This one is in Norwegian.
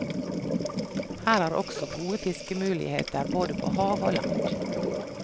Her er også gode fiskemuligheter både på hav og land.